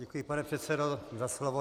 Děkuji, pane předsedo, za slovo.